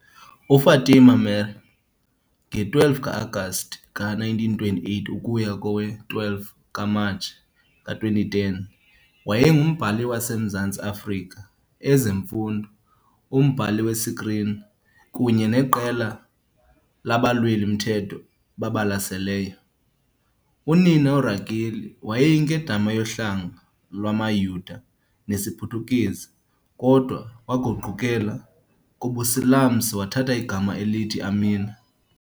UFatima Meer, nge-12 ka-Agasti ka-1928 ukuya kowe-12 ku-Matshi ka-2010, wayengumbhali wase Mzantsi Afrika, ezemfundo, umbhali wesikrini, kunye neqela labalweli-mthetho babalaseleyo. Unina, uRakeli, wayeyinkedama yohlanga lwamaYuda nesiPhuthukezi, kodwa ke waguqukela kubuSilamsi wathatha igama elithi Amina.